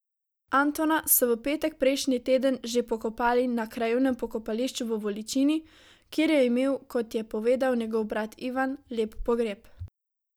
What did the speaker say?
Antona so v petek prejšnji teden že pokopali na krajevnem pokopališču v Voličini, kjer je imel, kot je povedal njegov brat Ivan, lep pogreb.